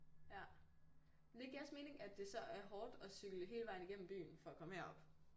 Ja men det giver også mening at det så er hårdt at cykle hele vejen igennem byen for at komme herop